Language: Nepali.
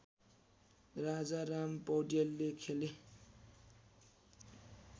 राजाराम पौडेलले खेले